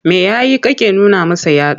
Me ya yi kake nuna masa yatsa?